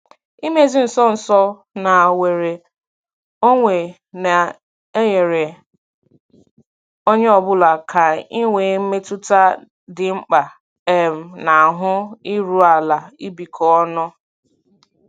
Imezi nso nso na nnwere onwe na-enyere onye ọ bụla aka inwe mmetụta dị mkpa um na ahụ iru ala ibikọ ọnụ.